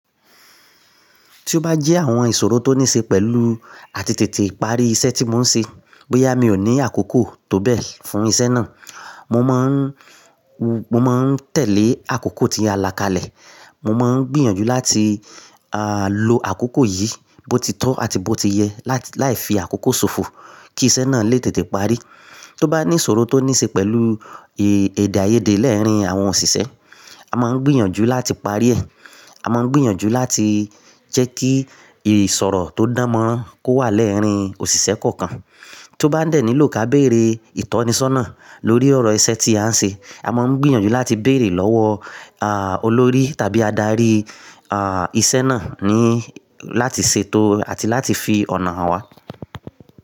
Tí ó bá jẹ́ àwọn ìṣòro tó níṣe pẹ̀lú àtètè ìparí iṣẹ́ tí mò ń ṣe, bóyá mi ò ní àkókò tó bẹ́ẹ̀ fún iṣẹ́ náà, mo máa ń, mo máa ń tẹ̀lé àkókò tí a làkalẹ̀. Mo máa ń gbìyànjú láti, à, lo àkókò yìí bó ti tọ́ àti bó ti yẹ láì, láì fi àkókò ṣòfò kí iṣẹ́ náà lè tètè parí. Tó bá ní ìṣòro tó níṣe pẹ̀lú èdè àìyedè lẹ́ẹ̀rín àwọn òṣìṣẹ́, a máa ń gbìyànjú láti parí ẹ̀. A máa ń gbìyànjú láti jẹ́ kí ìsọ̀rọ̀ tó dánmọ́ kó wà lẹ́ẹ̀rín òṣìṣẹ́ kọ̀ọ̀kan. Tó bá dẹ̀ ní ló ká béèrè ìtọ́nisọ́nà lórí ọ̀rọ̀ iṣẹ́ tí à ń ṣe, a máa ń gbìyànjú láti béèrè lọ́wọ́, à, olórí tàbí adarí, à, iṣẹ́ náà ní láti ṣètò àti láti fi ọ̀nà hàn wá.